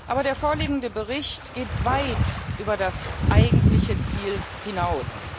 Aber der vorliegende Bericht geht weit über das eigentliche Ziel hinaus.